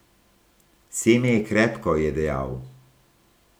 Seme je krepko, je dejal.